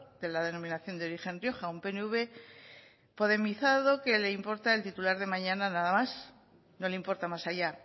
de la denominación de origen rioja un pnv podemizado que le importa el titular de mañana nada más no le importa más allá